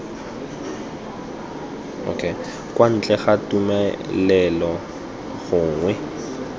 kwa ntle ga tumelelo gongwe